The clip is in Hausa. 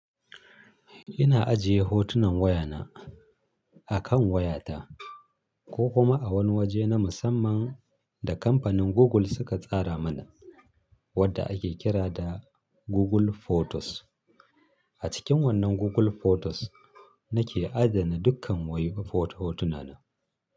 Ina ajiye hotunan wayana akan wayata ko kuma a wani waje na musamman da kamfanin Google suka tsara mana wadda ake kira da Google Photos. A cikin wannan Google Photos nake adana dukkan waye foto hotunana.